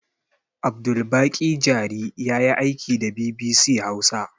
Abdulbaƙi jari yayi aiki da bibisi hausa